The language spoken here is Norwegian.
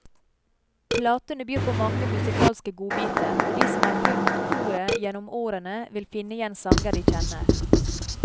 Platene byr på mange musikalske godbiter, og de som har fulgt koret gjennom årene vil finne igjen sanger de kjenner.